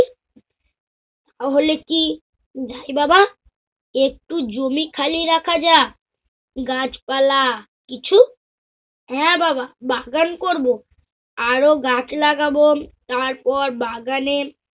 তাহলে কি যাই বাবা? একটু জমি খালি রাখা যা? গাছপালা কিছু? হ্যা বাবা বাগান করব, আরও গাছ লাগাব, তারপর বাগানে-